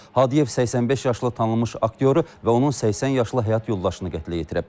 Hadiyev 85 yaşlı tanınmış aktyoru və onun 80 yaşlı həyat yoldaşını qətlə yetirib.